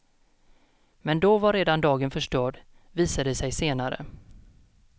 Men då var redan dagen förstörd, visade det sig senare.